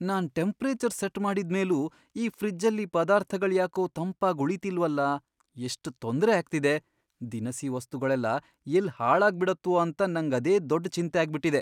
ನಾನ್ temperature set ಮಾಡಿದ್ಮೇಲೂ ಈ ಫ್ರಿಜ್ಜಲ್ಲಿ ಪದಾರ್ಥಗಳ್ಯಾಕೋ ತಂಪಾಗ್ ಉಳೀತಿಲ್ವಲ್ಲ, ಎಷ್ಟ್ ತೊಂದ್ರೆ ಆಗ್ತಿದೆ.. ದಿನಸಿ ವಸ್ತುಗಳೆಲ್ಲ ಎಲ್ಲ್ ಹಾಳಾಗ್ಬಿಡತ್ವೋ ಅಂತ ನಂಗ್ ಅದೇ ದೊಡ್ಡ್ ಚಿಂತೆ ಆಗ್ಬಿಟಿದೆ.